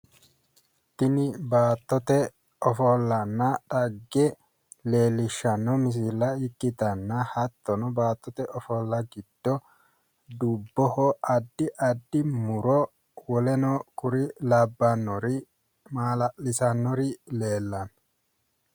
Tini baattote ofollanna dhagge leellishshanno misile ikkitanna hatyono baattote ofolla giddo dubboho addi addi muro woleno kuri labbannori maala'lisannori leellanno